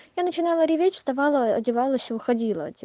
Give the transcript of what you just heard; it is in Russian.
я начинала реветь вставала одевалась уходила